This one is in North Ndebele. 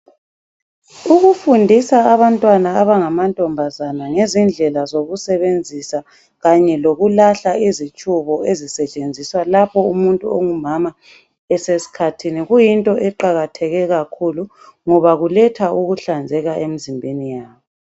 Ukufundisa abantwana abangamantombazana ngezindlela zokusebenzisa, kanye lokulahla izitshubo, ezisetshenziswa lapha umuntu ongumama esesikhathini. Kuyinto eqakatheke kakhulu, ngoba kuletha ukuhlanzeka emizimbeni yabo.